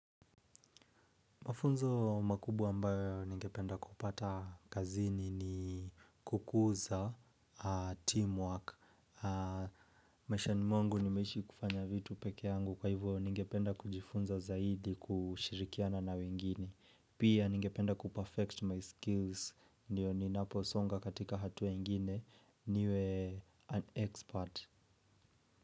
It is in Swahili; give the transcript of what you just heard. Mafunzo makubwa ambayo ningependa kupata kazini ni kukuza, teamwork. Mashani mwangu nimeishi kufanya vitu peke yangu kwa hivyo ningependa kujifunza zaidi kushirikiana na wengine. Pia ningependa kuperfect my skills, ndiyo ninaposonga katika hatua ingine, niwe an expert.